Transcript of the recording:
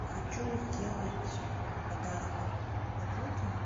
хочу сделать подарок подруге